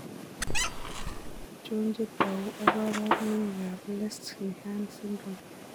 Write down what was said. Achon chetogu ak kaboorunoik ab Lesch Nyhan syndrome?